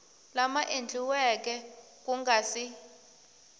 lama endliweke ku nga si